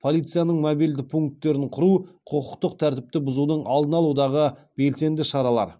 полицияның мобильді пункттерін құру құқықтық тәртіпті бұзудың алдын алудағы белсенді шаралар